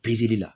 la